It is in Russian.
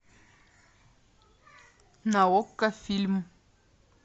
на окко фильм